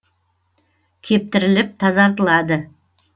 кептіріліп тазартылады